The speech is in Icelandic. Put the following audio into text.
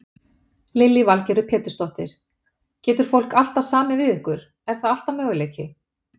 Lillý Valgerður Pétursdóttir: Getur fólk alltaf samið við ykkur, er það alltaf möguleiki?